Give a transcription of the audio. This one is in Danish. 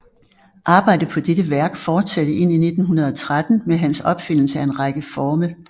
Arbejdet på dettte værk fortsatte ind i 1913 med hans opfindelse af en række forme